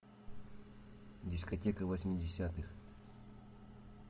дискотека восьмидесятых